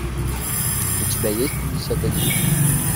у тебя есть пятьдесят один